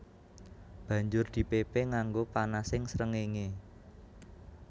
Banjur dipépé nganggo panasing srengéngé